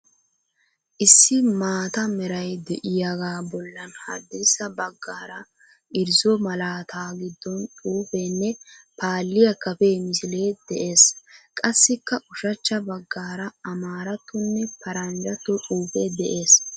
Issi maata meray de"iyaagaa bollan haddirssa baggaara irzzo malaataa giddon xuufeenne paalliyaa kafee misilee de'ees. Qassikka ushachcha baggaara amaarattonne paranjjatto xuufe de'ees.